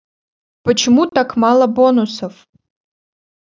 почему так мало бонусов